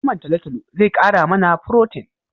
Naman talotalo zai kara mana furotin